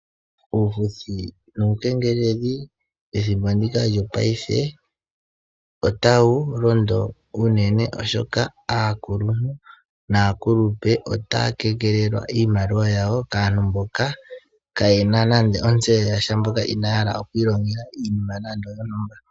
Uufuthi nuu kengeleli ethimbo ndika lyo paife otawu londo uunene oshoka aakuluntu naa kulupe otaya kengelelwa iimaliwa yawo kaantu mboka kaayena nande otseyo yasha mboka Inaa ya hala oku ilongela iinima nande oyo ntumba.